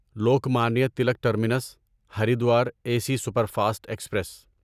Lokmanya Tilak terminus Haridwar A C superfast express